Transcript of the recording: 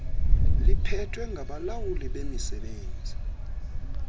liphethwe ngabalawuli bemisebenzi